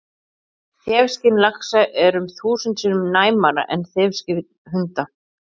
Þefskyn laxa er um þúsund sinnum næmara en þefskyn hunda!